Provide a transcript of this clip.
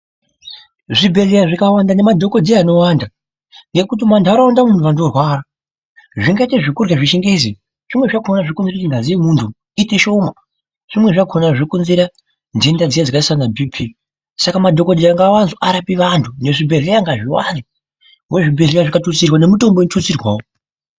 Zvibhedhlera zvikawanda nemadhokodheya anowanda ngekuti mumanharaunda umu vantu vorwara, zvingaite zvekurya zvechingezi zvimweni zvakona zvinokombe kuti ngazi yemuntu iite shoma, zvimweni zvakona zvokonzera nhenda dziya dzakaita sana BP saka madhokodheya ngaawande arape vantu nezvibhedhlera ngazviwande, ngekuti zvibhedhlera zvikatutsirwa nemitombo inotutsirwawo.